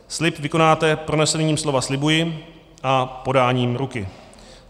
Slib vykonáte pronesením slova "slibuji" a podáním ruky.